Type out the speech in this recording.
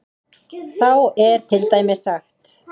Þá er til dæmis sagt